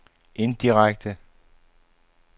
indirekte